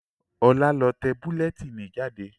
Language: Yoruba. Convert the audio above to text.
Ọlá lọ tẹ bulẹtínì jáde